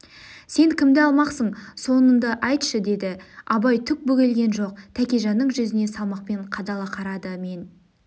сен кімді алмақсың сонынды айтшы деді абай түк бөгелген жоқ тәкежанның жүзіне салмақпен қадала қарады мен